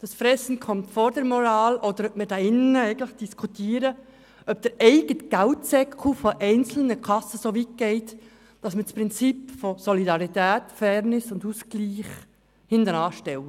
«Das Fressen kommt vor der Moral», Recht hat, oder ob wir hier diskutieren, ob die eigene Brieftasche einzelner Kassen soweit geht, dass die Prinzipien von Solidarität, Fairness und Ausgleich hinten angestellt werden.